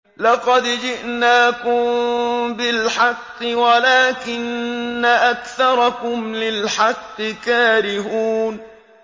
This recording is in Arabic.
لَقَدْ جِئْنَاكُم بِالْحَقِّ وَلَٰكِنَّ أَكْثَرَكُمْ لِلْحَقِّ كَارِهُونَ